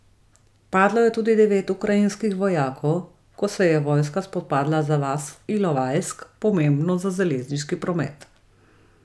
Padlo je tudi devet ukrajinskih vojakov, ko se je vojska spopadla za vas Ilovajsk, pomembno za železniški promet.